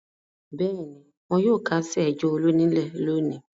Bẹ́ẹ̀ ni, wọn yóò kásẹ̀ ẹjọ́ Olú nílẹ̀ lónìí.